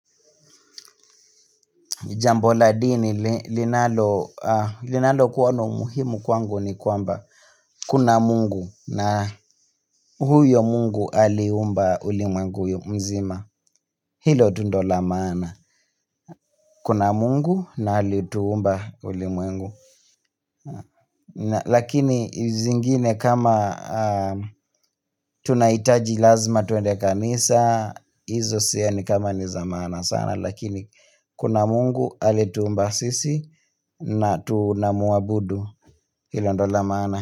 Jambo la dini linalokuwa na umuhimu kwangu ni kwamba kuna mungu na huyo mungu aliumba ulimwengu mzima. Hilo tu ndio la maana. Kuna mungu na alituumba ulimwengu. Lakini zingine kama tunahitaji lazima twende kanisa, hizo sioni kama ni za maana sana. Lakini kuna mungu aliye tuumba sisi na tunamuabudu hilo ndio la maana.